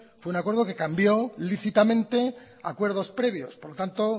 fue un acuerdo que cambió lícitamente acuerdos previos por lo tanto